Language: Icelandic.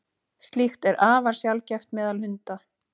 Slíkt er afar sjaldgæft meðal hunda.